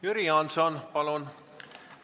Jüri Jaanson, palun!